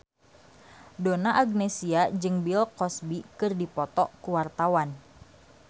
Donna Agnesia jeung Bill Cosby keur dipoto ku wartawan